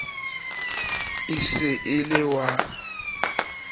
e se e le wa